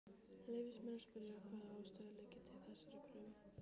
Leyfist mér að spyrja, hvaða ástæður liggi til þessarar kröfu?